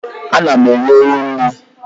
Ana m enye ewu nri.